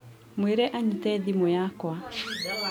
mwĩre anyite thimũ yakwa